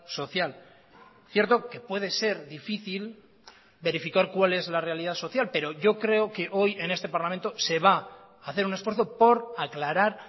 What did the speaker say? social cierto que puede ser difícil verificar cuál es la realidad social pero yo creo que hoy en este parlamento se va a hacer un esfuerzo por aclarar